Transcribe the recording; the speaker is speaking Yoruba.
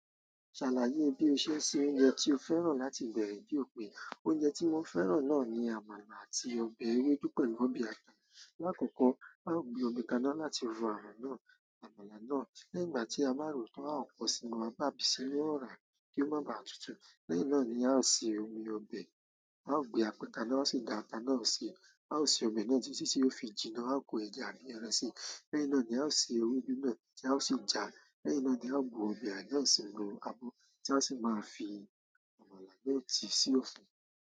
Ṣàlàyé bí o ṣe ń se oúnjẹ tí o fẹ́ràn láti ìgbà èwe jù pé. Oúnjẹ tí mo fẹ́ràn náà ni àmàlà àti ọbẹ̀ ewédú pẹ̀lú ọbẹ̀ ata. Láàkọ́kọ́, a ó gbé omi kaná láti ro àwọn náà, àmàlà náà. Lẹ́yìn tí a báa rò ó tán, a ó pọ̀n sí i mọ́, bá sì bí i ó rà kí ó má ba à tutù. Lẹ́yìn náà ni a ó se omi ọbẹ̀. A ó gbe apẹ́ ka ná sí i, gáta náà sì. A ó se omi náà jẹ́, sí sì ó fi jina, a ó ko ẹja àti ìrẹsì. Lẹ́yìn náà ni a ó se ewédú náà tí a ó sì já. Lẹ́yìn náà ni a ó bu omi àná sì ro abọ, tí a sì máa fi àmàlà náà sí sí ọ̀fun.